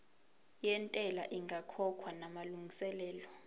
yentela ingakakhokhwa namalungiselo